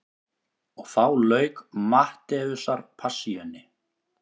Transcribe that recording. Og þá lauk Mattheusarpassíunni.